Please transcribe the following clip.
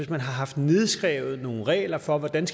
haft nedskrevet nogle regler for hvordan